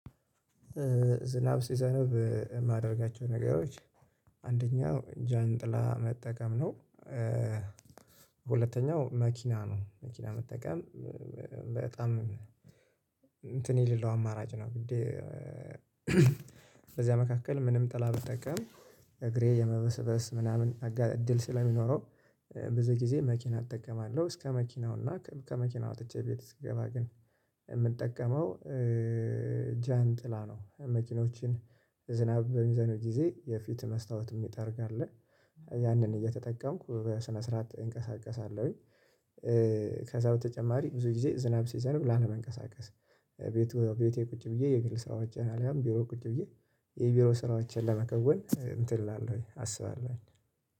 ዝናብ ሲዘንብ የማደርጋቸው ነገሮች አንደኛው ጃንጥላ መጠቀም ነው። ሁለተኛው መኪና ነው መኪና መጠቀም በጣም እንትን የሌለው አማራጭ ነው። ብዬ በዚያ መካከል ምንም ጥላ አልተቀምም። እግሬ የመበሰበስ ምናምን እድል ስለሚኖረው ብዙ ጊዜ መኪና እጠቀማለሁ እስከ መኪናው እና ከመኪናው ወጥቼ ቤት ስገባ ግን የምጠቀመው ጃንጥላ ነው። መኪኖችን ዝናብ በሚዘንብ ጊዜ የፊት መስታወት የሚጠርግ አለ ያንን እየተጠቀምኩ በስነ ስርዓት እንቀሳቀሳለሁኝ። ከዛ በተጨማሪ ብዙ ጊዜ ዝናብ ሲዘንብ ላለመንቀሳቀስ ቤቴ ቤቴ ቁጭ ብዬ የግል ስራዎችን አልያም ቢሮ ቁጭ ብዬ የቢሮ ስራዎችን ለመከወን እንትን እላለሁ አስባለሁ